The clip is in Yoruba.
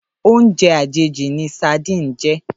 Óoùnjè àjéjí ni sádin jè